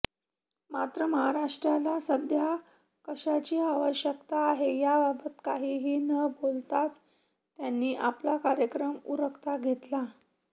मात्र महाराष्ट्राला सध्या कशाची आवश्यकता आहे याबाबत काहीही न बोलताच त्यांनी आपला कार्यक्रम उरकता घेतला